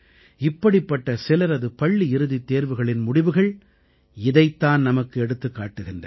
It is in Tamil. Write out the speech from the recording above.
இப்படிப்பட்ட சிலரது பள்ளி இறுதித் தேர்வுகளின் முடிவுகள் இதைத் தான் நமக்கு எடுத்துக் காட்டுகின்றன